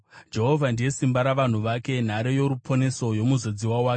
Jehovha ndiye simba ravanhu vake, nhare yoruponeso yomuzodziwa wake.